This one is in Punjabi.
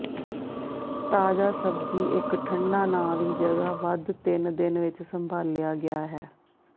ਤਾਜ਼ਾ ਸਬਜ਼ੀ ਇੱਕ ਠੰਡਾ ਨਾ ਦੀ ਜਗ੍ਹਾ ਵੱਧ ਤਿੰਨ ਦਿਨ ਵਿੱਚ ਸੰਭਾਲਿਆ ਗਿਆ ਹੈ